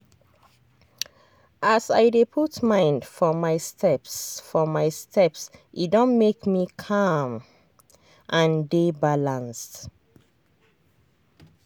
as i dey put mind for my steps for my steps e don make me calm and dey balanced.